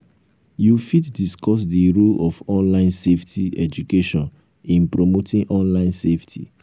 you fit discuss di role of online safety education in promoting online safety.